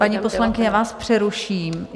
Paní poslankyně, já vás přeruším.